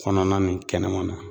Kɔnɔna ni kɛnɛmana.